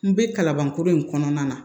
N bɛ kalaban kura in kɔnɔna na